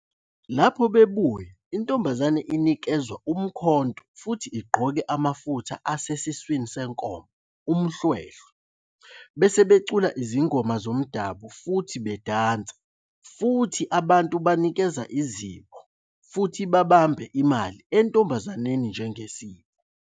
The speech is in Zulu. Lapho bebuya, intombazane inikezwa umkhonto futhi igqoke amafutha asesiswini senkomo, Umhlwehlwe, bese becula izingoma zomdabu futhi bedansa futhi abantu banikeza izipho futhi babambe imali entombazaneni njengesipho.